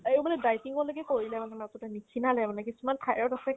এইবুলি dieting লৈকে কৰিলে মানে last ত তাই নিক্ষীণালে মানে কিছুমান thyroid য়ে আছে